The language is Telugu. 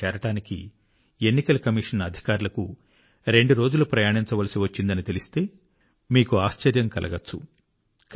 అక్కడికి చేరడానికి ఎన్నికల కమిషన్ అధికారులకు రెండు రోజులు ప్రయాణించవలసి వచ్చిందని తెలిస్తే మీకు ఆశ్చర్యం కలగొచ్చు